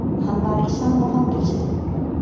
Hann var í sama fangelsinu.